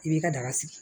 I b'i ka daga sigi